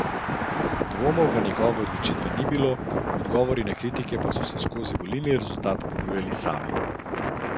Dvomov v njegove odločitve ni bilo, odgovori na kritike pa so se skozi volilni rezultat ponujali sami.